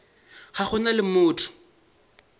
ga go na le motho